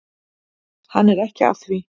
Hann er ekki að því.